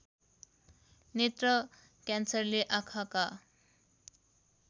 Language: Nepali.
नेत्र क्यान्सरले आँखाका